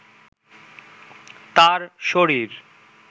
তার শরীর